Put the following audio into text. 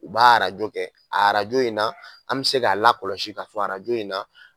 U b'a arajo kɛ a arajo in na an mɛ se k'a lakɔlɔsi ka fɔ arajo in na